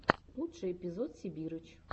лучший эпизод сибирыч